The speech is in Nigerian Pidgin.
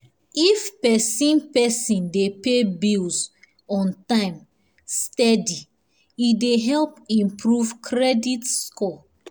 if person person dey pay bills on time steady e dey help improve credit score.